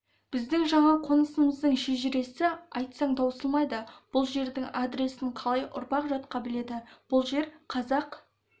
біздің жаңа қонысымыздың шежіресі айтсаң таусылмайды бұл жердің адресін талай ұрпақ жатқа біледі бұл жер қазақ